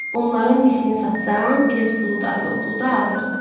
Bunların misini satsam, bilet pulu da, yol pulu da hazırdır.